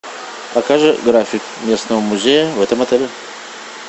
покажи график местного музея в этом отеле